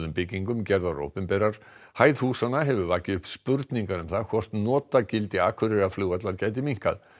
byggingum gerðar opinberar hæð húsanna hefur vakið upp spurningar um það hvort notagildi Akureyrarflugvallar gæti minnkað